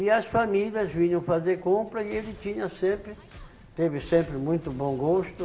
E as famílias vinham fazer compra e ele tinha sempre, teve sempre muito bom gosto,